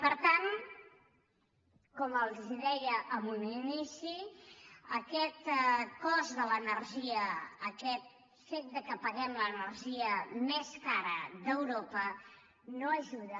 per tant com els deia en un inici aquest cost de l’energia aquest fet que paguem l’energia més cara d’europa no ajuda